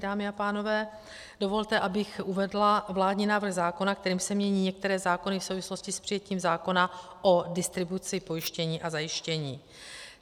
Dámy a pánové, dovolte, abych uvedla vládní návrh zákona, kterým se mění některé zákony v souvislosti s přijetím zákona o distribuci pojištění a zajištění.